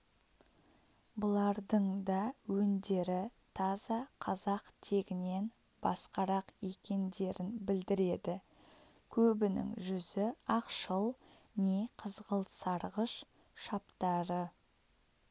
бұлардың да өндері таза қазақ тегінен басқарақ екендерін білдіреді көбінің жүзі ақшыл не қызғылт сарғыш шаптары